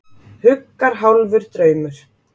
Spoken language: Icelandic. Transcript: Huggar hálfur draumur.